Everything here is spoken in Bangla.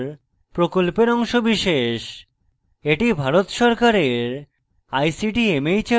এটি ভারত সরকারের ict mhrd এর জাতীয় শিক্ষা mission দ্বারা সমর্থিত